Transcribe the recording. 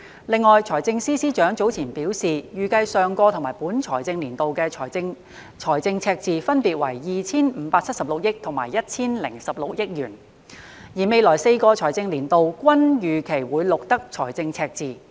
另外，財政司司長早前表示，預計上個及本財政年度的政府財政赤字分別為 2,576 億和 1,016 億元，而未來4個財政年度均預期會錄得財政赤字。